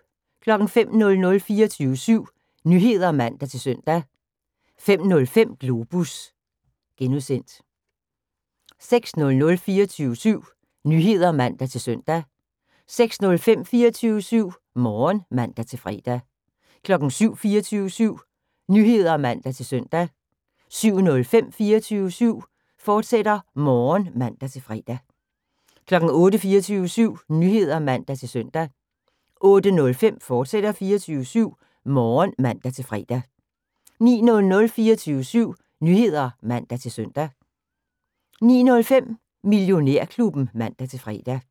05:00: 24syv Nyheder (man-søn) 05:05: Globus (G) 06:00: 24syv Nyheder (man-søn) 06:05: 24syv Morgen (man-fre) 07:00: 24syv Nyheder (man-søn) 07:05: 24syv Morgen, fortsat (man-fre) 08:00: 24syv Nyheder (man-søn) 08:05: 24syv Morgen, fortsat (man-fre) 09:00: 24syv Nyheder (man-søn) 09:05: Millionærklubben (man-fre)